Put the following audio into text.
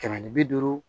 Kɛmɛ ni bi duuru